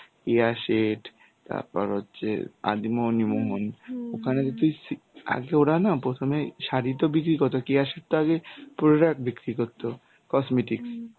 কেয়া শেঠ. তারপর হচ্ছে আদি মোহিনী মোহন ওখানে তো তুই সি~ আগে ওরা না প্রথমে শাড়ি তো বিক্রি করতো, কেয়া শেঠ তো আগে product বিক্রি করতো, cosmetics